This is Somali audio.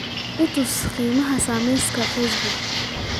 i tus qiimaha saamiyada facebook